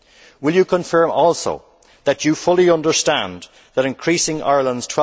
Will you confirm also that you fully understand that increasing Ireland's